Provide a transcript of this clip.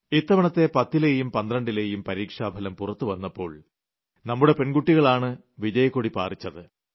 ഇത്തവണത്തെ പത്തിലെയും പന്ത്രണ്ടിലെയും പരീക്ഷാഫലം പുറത്തുവന്നപ്പോൾ നമ്മുടെ പെൺകുട്ടികളാണ് വിജയക്കൊടി പാറിച്ചത